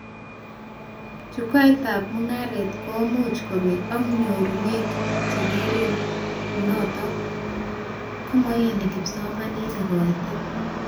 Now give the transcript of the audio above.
Chukwaitab mugaret komuch kobek ak nyorunet chengerin anatoo komaiyonch kipsomaninik kaitet